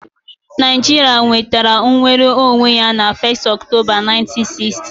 Naijiria nwetara nnwere onwe ya na 1st Octoba 1960